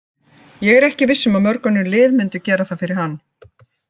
Ég er ekki viss um að mörg önnur lið myndu gera það fyrir hann.